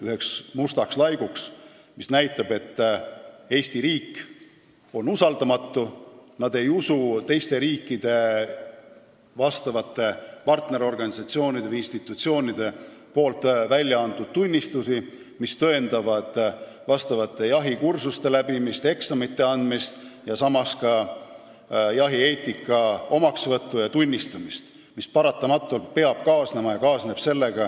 See oleks näidanud, et Eesti riik on usaldamatu: me ei usalda teiste riikide partnerorganisatsioonide või institutsioonide väljaantud tunnistusi, mis tõendavad vastavate jahikursuste läbimist ja eksamite andmist, samuti jahieetika omaksvõttu ja tunnistamist, mis paratamatult peab sellega kaasnema ja ka kaasneb.